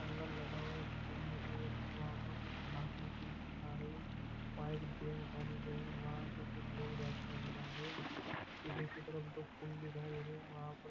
angle लगा हुआ एक पुल दिखाई दे रहा है वहां पर कुछ घास निकले नजर आ रही है वहां एक बेंच डाली गई है वहां से कुछ लोग जाते नजर आ रहे है पीछे की तरफ दो पुल दिखाई दे रहे है वहा पर--